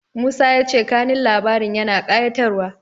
Musa ya ce kanun labarin yana ƙayatarwa.